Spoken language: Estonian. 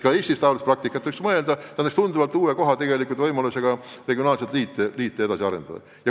Ka Eestis võiks mõelda, kuidas leida võimalusi regionaalseid liite edasi arendada.